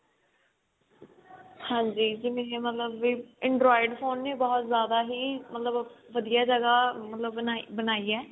ਹੰਜ੍ਜੀ ਜਿਵੇਂ ਕੀ ਮਤਲਬ ਵੀ android phone ਵੀ ਬਹੁਤ ਜ਼ਿਆਦਾ ਹੀ ਮਤਲਬ ਵਧੀਆ ਜਗ੍ਹਾ ਮਤਲਬ ਮਤਲਬ ਬਣਾਈ ਹੈ